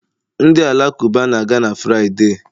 Ndị Alakụba na-aga na Fraịde